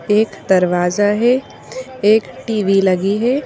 एक दरवाजा है एक टी_वी लगी है।